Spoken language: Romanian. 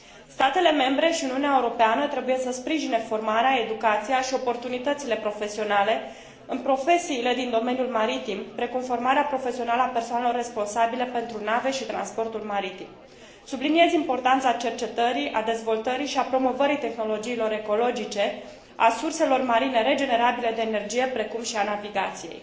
Statele membre și Uniunea Europeană trebuie să sprijine formarea, educația și oportunitățile profesionale în profesiile din domeniul maritim, precum formarea profesională a persoanelor responsabile pentru nave și transportul maritim. Subliniez importanța cercetării, a dezvoltării și a promovării tehnologiilor ecologice, a surselor marine regenerabile de energie, precum și a navigației.